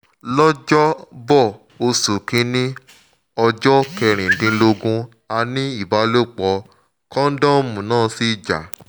lọ́jọ́ bọ oṣù kínní ọjọ́ kẹrìndínlógún a ní ìbálòpọ̀ kóńdọ́ọ̀mù náà sì já